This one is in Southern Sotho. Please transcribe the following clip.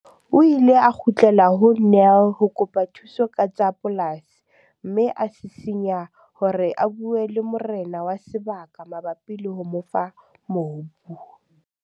O ile a kgutlela ho Nel ho kopa thuso ka tsa polasi mme a sisinya hore a bue le morena wa sebaka mabapi le ho mo fa mobu.